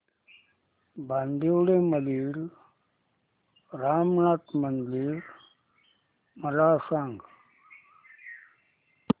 बांदिवडे मधील रामनाथी मंदिर मला सांग